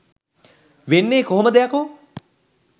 වෙන්නේ කොහොමද යකෝ?